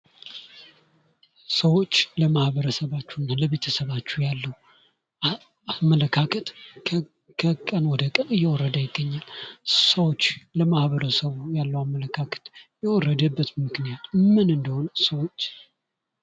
ሰዎች ለማህበረሰባቸውና ለቤተሰባቸው አመለካከት ከቀን ወደ ቀን እየወረደ ይገኛል። ሰዎች ለማህበረሰቡ ያለውን አመለካከት የወረደበት ምክንያት ምን እንደሆነ ሰዎች።